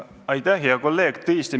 Aitäh, hea kolleeg!